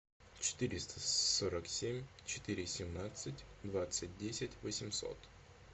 четыреста сорок семь четыре семнадцать двадцать десять восемьсот